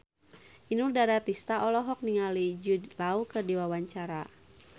Inul Daratista olohok ningali Jude Law keur diwawancara